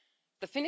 the